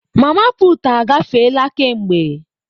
Mama putu agafeela kemgbe.